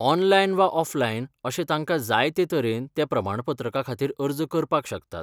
Online वा offline अशे तांकां जाय ते तरेन ते प्रमाणपत्रा खातीर अर्ज करपाक शकतात.